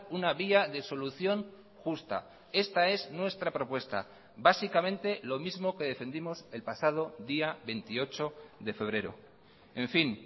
una vía de solución justa esta es nuestra propuesta básicamente lo mismo que defendimos el pasado día veintiocho de febrero en fin